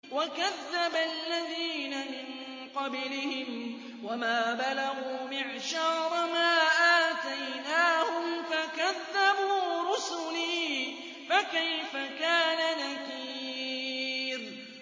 وَكَذَّبَ الَّذِينَ مِن قَبْلِهِمْ وَمَا بَلَغُوا مِعْشَارَ مَا آتَيْنَاهُمْ فَكَذَّبُوا رُسُلِي ۖ فَكَيْفَ كَانَ نَكِيرِ